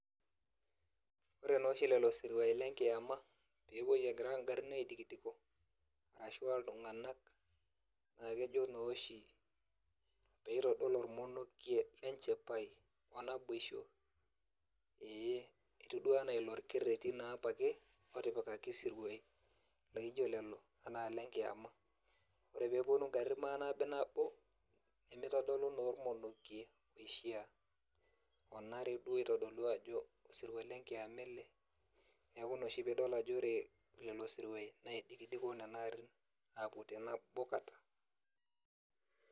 Ore noshi lelo siruai lenkiama, pepuoi egira garrin aidikidiko, ashua iltung'anak, na kejo noshi peitodolu ormonokie lenchipai o naboisho, ee etiu duo enaa ilo orkerrerri naapa ake otipikaki isiruai laijo lelo enaa lenkiyama. Ore peponu garrin manabinabo, nemitodolu naa ormonokie oishaa. Onare duo aitadolu ajo osirua lenkiama ele. Neeku inoshi pidol ajo ore lelo siruai, neidikidiko nena arrin, apuo tenabo kata.